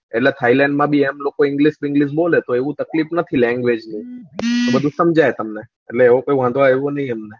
એટલે થાયલેન્ડ માં ભી લોકો એમ english વિગ્લીશ બોલે તો તકલીફ નથી language નું બધું સમજાય તમને એટલે એવો કીય વાંધો આવ્યો નહી અમને